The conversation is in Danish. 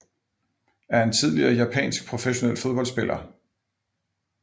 er en tidligere japansk professionel fodboldspiller